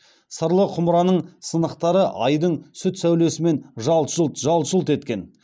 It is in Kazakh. сырлы құмыраның сынықтары айдың сүт сәулесімен жалт жұлт жалт жұлт еткен